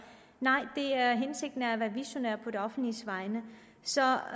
nej hensigten er at være visionær på det offentliges vegne så